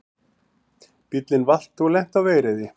Bíllinn valt og lenti á vegriði